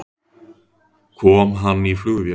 Kom hann í flugvél?